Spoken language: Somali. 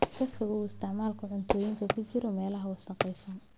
Ka fogow isticmaalka cuntooyinka ku jiray meelaha wasakhaysan.